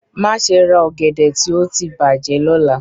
Maṣe ra ogede ti o ti bajẹ lọla!